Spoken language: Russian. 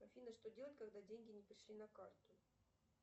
афина что делать когда деньги не пришли на карту